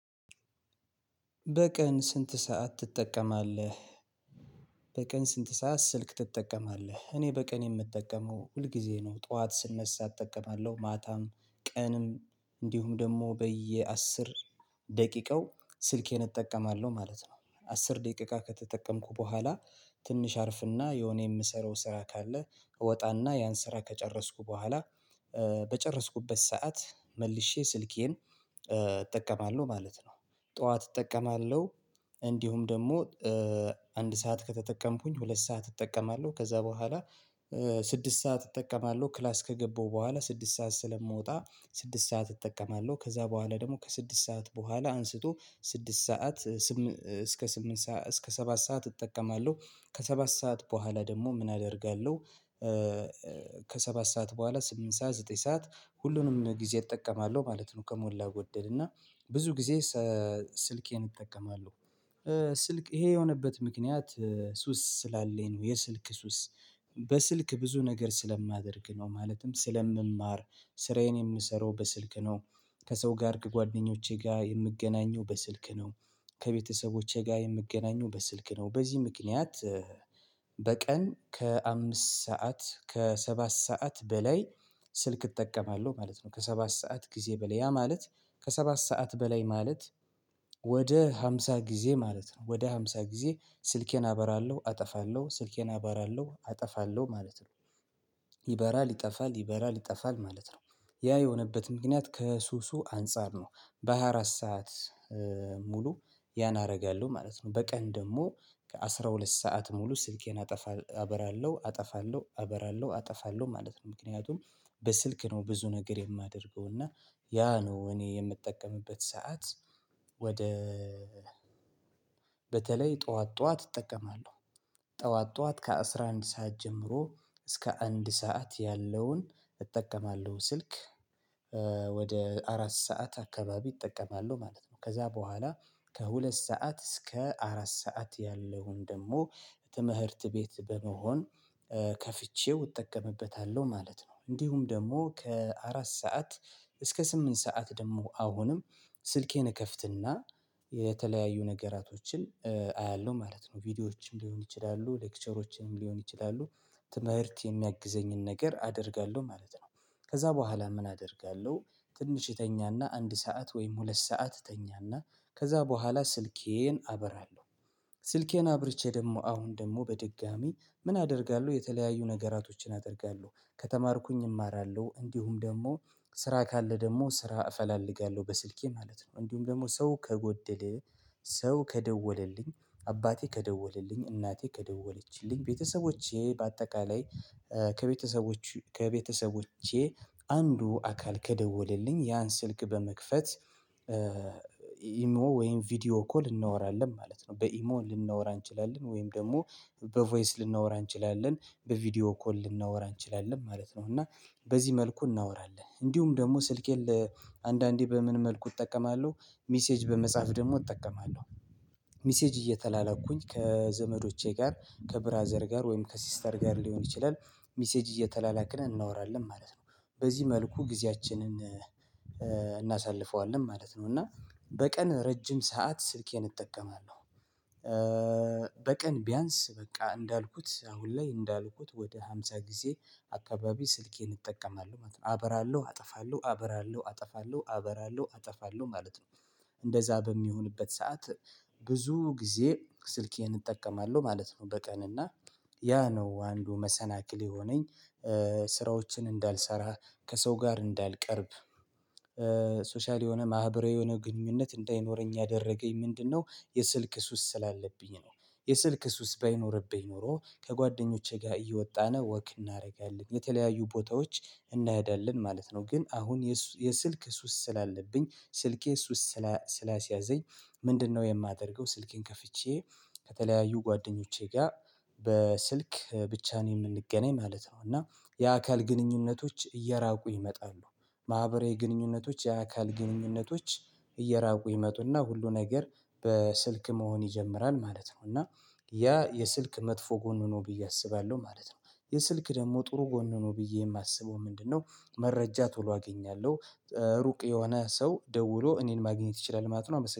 በቀን ስንት ሰዓት ትጠቀማለህ? በቀን ስንት ሰዓት ስልክ ትጠቀማለህ? እኔ በቀን የምጠቀመው ሁልጊዜ ነው ጠዋት ስነሳ እጠማለሁ ማታም ቀንም እንዲሁም ደግሞ በየአስር ደቂቃው ስልኬን እጠቀማለሁ ማለት ነው። አስር ደቂቃ ከተጠቀምሁ በኋላ ትንሽ አርፍና የሆነ የምሰራው ስራ ካለ እወጣና ያን ስራ ከጨረስሁ በኋላ በጨረስሁበት ሰዓት መልሼ ስልኬን እጠቀማለሁ ማለት ነው። ጠዋት እጠቀማለሁ እንዲሁም ደግሞ አንድ ሰዓት ከተጠቀምሁኝ ሁለት ሰዓት እጠቀማለሁ። ከዛ በኋላ ስድስት ሰዓት እጠቀማለሁ። ክላስ ከገባሁ በኋላ ስድስት ሰዓት ስለምወጣ ስድስት ሰዓት እጠቀማልሁ። ከዛ በኋላ ደግሞ ከስድስት በኋላ አንስቶ ስድስት ሰዓት እስከ ስምንት ሰዓት እስከ ሰባት ሰዓት እጠቀማለሁ። ከሰባት ሰዓት በኋላ ደግሞ ምን አደርጋለሁ? ከሰባት ሰዓት በኋላ ስምንት ሰዓት ዘጠኝ ሰዓት ሁሉም ጊዜ እጠቀማለሁ ማለት ነውከሞላ ጎደል እና ብዙ ጊዜ ስልኬን እጠቀማለሁ። ስልክ ይሄ የሆነበት ምክንያት ሱስ ስላለኝ ነው። የስልክ ሱስ በስልክ ብዙ ነገር ስለማደርግ ነው። ማለትም ስለምማር ስራየን የምሰራው በስልክ ነው። ከሰው ጋር ከጓደኞቼ ጋር የምገናኘው በስልክ ነው። ከቤተሰቦቼ ጋር የምገናኘው በስልክ ነው በዚህም ምክንያት በቀን ከአምስት ሰዓት ከሰባት ሰዓት በላይ ስልክ እጠቀማልሁ ማለት ነው። ከሰባት ሰዓት ጊዜ በላይ ያ ማለት ከሰባት ሰዓት በላይ ማለት ወደ ሃምስ ጊዜ ማለት ነው። ወደ ሃምሳ ጊዜ ስልኬን አበራለሁ አጠፋለሁ ስልኬን አበራለሁ አጠፋለሁ ማለት ነው። ይበራል ይጠፋል ይበራል ይጠፋል ማለት ነው። ያ የሆነበት ምክንያት ከሱሱ አንፃር ነው። በሃያ አራት ሰዓት ሙሉ ያን አደርጋለሁ ማለት ነው። በቀን ደግሞ ከአሥራ ሁለት ሰዓት ሙሉ ስኬን አጠፋ አበራለሁ አጠፋለሁ አበራለሁ አጠፋለሁ ማለት ነው። ምክንያቱም በስልክ ነው። ብዙ ነገር የማደርገው እና ያ ነው እኔ የምጠቀምበት ሰዓት ወደ በተለይ ጠዋት ጠዋት እጠቀማለሁ ጠዋት ጠዋት ከአሥራ አንድ ሰዓት ጀምሮ እስከ አንድ ሰዓት ያለውን እጠቀማለሁ ስልክ ወደ አራት ሰዓት አካባቢ እጠቀማለሁ ማለት ነው። ከዛ በኋላ ከሁለት ሰዓት እሰከ አራት ሰዓት ያለውን ደግሞ ትምህትር ቤት በመሆን ከፍቸው እጠቀምበታለሁ ማለት ነው። እንዲሁም ደግሞ ከአራት ሰዓት እስከ ስምንት ሰዓት ደግሞ አሁንም ስልኬን እከፍትና የተለያዩ ነገራቶችን አያለሁ ማለት ነው። ቪዲዮዎችን ሊሆን ይችላሉ ሌክቸሮችም ሊሆን ይችላሉ ትምህርት የሚያግዘኝን ነገር አደርጋለሁ ማለት ነው። ከዛ በኋላ ምን አደርጋለሁ? ትንሽ እተኛና አንድ ሰዓት ወም ሁለት ሰዓት እተኛና ከዛ በኋላ ስልኬን አበራለሁ ስልኬን አብርቼ ደግሞ አሁን ደግሞ በድጋሜ ምን አደርጋለሁ የተለያዩ ነገራቶችን አደርጋለሁ ከተማርሁኝ እማራለሁ እንዲሁም ደግሞ ስራ ካለ ደግሞ ስራ እፈላልጋለሁ በስልኬ ማለት ነው። እንዲሁም ደግሞ ሰው ከጎደለ ሰው ከደወለልኝ አባቴ ከደወለልኝ እናቴ ከደወለችልኝ ቤተሰቦቼ ባጠቃላይ ከቤተሰቦቼ አንዱ አካል ከደወለልኝ ያን ስልክ በመክፈት ኢሞ ወም ቪዲዎ ኮል እናወራለን ማለት ነው። በኢሞ ልናወራ እንችላለን ወይም ደግሞ በቮይስ ልናወራ እንችላለን በቪዲዎ ኮል ልናወራ ማለት ነው። እና በዚህ መልኩ እናወራለን እንዲሁም ደግሞ ስልኬን ለአንዳንዴ በምን መልኩ እጠቀማለሁ ሜሴጅ በመጻፍ ደግሞ እጠቀማለሁ። ሚሴጅ እየተላላክሁኝ ከዘመዶቼ ጋር ከብራዘር ጋር ወይም ከሲስተር ጋር ሊሆን ይችላል ሚሴጅ እየተላላክነ እናወራለን ማለት ነው። በዚህ መልኩ ጊዚያችችንን እናሳልፋለን ማለት ነው። እና በቀን ረጅም ሰዓት ስልኬን እጠቀማለሁ። በቀን ቢያንስ በቃ እንዳልሁት አሁን ላይ እንዳልሁት ወደ ሃምሳ ጊዜ አካባቢ ስኬን እጠቀማለሁ ማለት ነው። አበራለሁ አጠፋለሁ አበራለሁ አጠፋለሁ አበራለሁ አጠፋለሁ ማለት ነው። እንደዛ በሚሆንበት ሰዓት ብዙ ጊዜ ስልኬን እጠቀማለሁ ማለት ነው። በቀን እና ያ ነው አንዱ መሰናክል የሆነኝ ስራወችን እንዳልሰራ ከሰው ጋር እንዳልቀርብ ሶሻል የሆነ ማህበራዊ የሆነ ግንኙነት እንዳይኖረኝ ያደረገኝ ምንድንነው የስልክ ሱስ ስላለብኝ ነው። የስልክ ሱስ ባይኖርብኝ ኖሮ ከጓደኞቼ ጋር እየወጣነ ወክ እናደርጋለን የተለያዩ ቦታዎች እንሄዳለን ማለት ነው። ግን አሁን የስልክ ሱስ ስላለብኝ ስልክ ሱስ ስላስያዘኝ ምንድን ነው? የማደርግው ስልኬን ከፍቼ ከተለያዩ ጓደኞቼ ጋር በስልክ ብቻ ነው የምንገናኝ ማለት ነው። የአካል ግንኙነቶች እየራቁ ይመጣሉ። ማህበራዊ ግንኙነቶች የአካል ግንኙነቶች እየራቁ ይመጡና ሁሉ ነገር በስልክ መሆን ይጀምራል ማለት ነው። እና ያ የስልክ መጥፎ ጎኑ ነው ብየ አስባለሁ ማለት ነው። የስልክ ደግሞ ጥሩ ጎኑ ነው ብየ የማስበው ምንድን ነው? መረጃ ቶሎ አገኛለሁ እሩቅ የሆነ ሰው ደውሎ እኔን ማግኘት ይችላል ማለት ነው